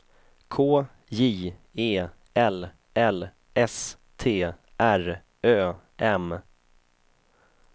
K J E L L S T R Ö M